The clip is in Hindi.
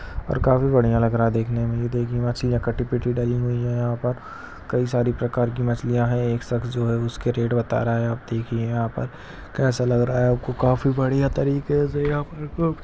और काफी बढ़िया लग रहा है देखने मे ये देखिए मछलिया कटी पीटी डली हुई है यहाँ पर कई सारी प्रकार की मछलिया है एक सक्ष जो हैंउसका रेट बता रहा हैं आप देखिए यहाँ पर कैसा लग रहा है काफी बढ़िया तरीके से यहाँ पर कुछ--